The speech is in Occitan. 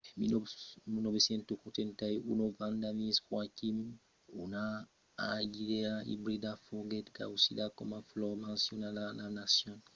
en 1981 vanda miss joaquim una orquidèa ibrida foguèt causida coma flor nacionala de la nacion